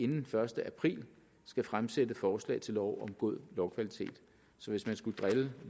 den første april skal fremsætte forslag til lov om god lovkvalitet så hvis man skulle drille